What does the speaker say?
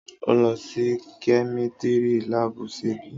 Ọ lọ si Kẹmitìrí làbú, sẹbí?